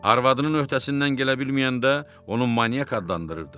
Arvadının öhdəsindən gələ bilməyəndə onu manyak adlandırırdı.